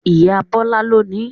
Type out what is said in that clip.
Ìyá Bọ́lá ló nií